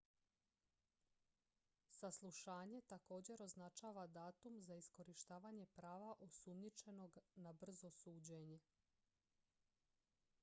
saslušanje također označava datum za iskorištavanje prava osumnjičenog na brzo suđenje